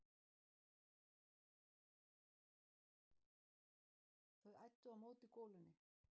Þau æddu á móti golunni.